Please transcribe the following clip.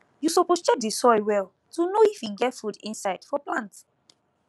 you suppose check the soil well to know if e get food inside for plant